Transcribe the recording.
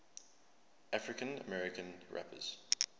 african american rappers